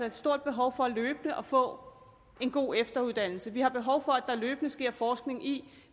et stort behov for løbende at få en god efteruddannelse vi har behov for at der løbende sker forskning i